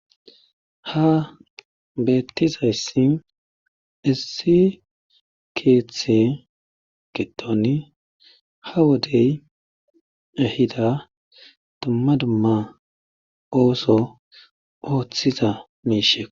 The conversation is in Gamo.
Ha bettizay sin essi keethe getoni hawadey ehida tammadumaa ooso ooththiza miishe.